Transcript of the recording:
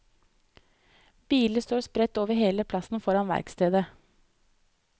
Biler står spredt over hele plassen foran verkstedet.